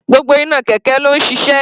Gbogbo iná kẹ̀kẹ́ ló ń ṣiṣẹ́.